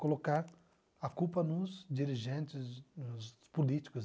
Colocar a culpa nos dirigentes, nos políticos.